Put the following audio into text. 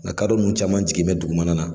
Ŋa kadɔ ninnu caman jiginmɛ dugumana na.